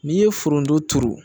N'i ye forondon turu